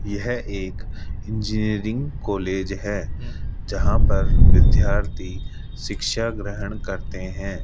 यह एक engineering college है जहां पर विद्यार्थी शिक्षा ग्रहण करते हैं।